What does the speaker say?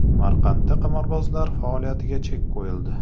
Samarqandda qimorbozlar faoliyatiga chek qo‘yildi.